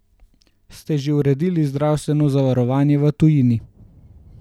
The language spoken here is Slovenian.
Ste že uredili zdravstveno zavarovanje v tujini?